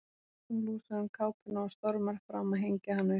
Hún losar um kápuna og stormar fram að hengja hana upp.